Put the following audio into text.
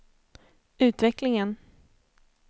utvecklingen